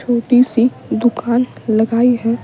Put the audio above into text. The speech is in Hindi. छोटी सी दुकान लगाई है।